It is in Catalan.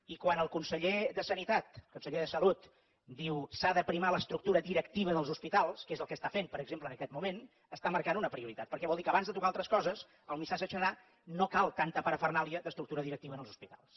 i quan el conseller de salut diu s’ha d’aprimar l’estructura directiva dels hospitals que és el que està fent per exemple en aquest moment està marcant una prioritat perquè vol dir que abans de tocar altres coses el missatge serà no cal tanta parafernàlia d’estructura directiva en els hospitals